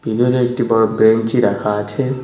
ভিতরে একটি বড়ো ব্রেঞ্চি রাখা আছে।